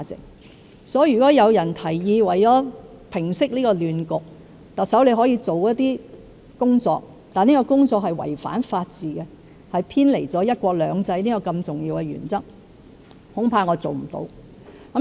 因此，如果有人為了平息這亂局而提議特首做一些工作，但這些工作違反法治及偏離"一國兩制"這個重要原則，恐怕我做不到。